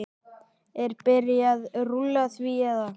Er byrjað rúlla því eða?